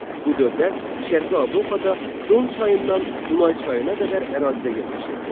Bu dövlət Şərqi Avropada Don çayından Dunay çayına qədər ərazidə yerləşirdi.